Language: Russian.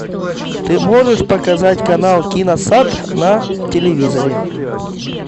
ты можешь показать канал киносад на телевизоре